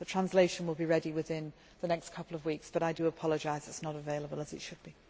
The translation will be ready within the next couple of weeks but I do apologise that it is not available as it should be.